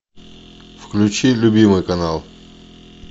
включи любимый канал